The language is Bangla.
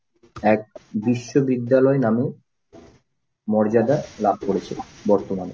এক বিশ্ববিদ্যালয় নামে মর্যাদা লাভ করেছে বর্তমানে।